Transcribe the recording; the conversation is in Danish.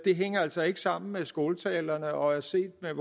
hænger altså ikke sammen med skåltalerne og set med